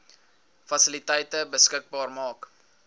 fasiliteite beskikbaar maak